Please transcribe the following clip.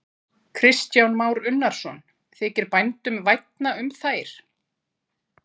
Kristján Már Unnarsson: Þykir bændum vænna um þær?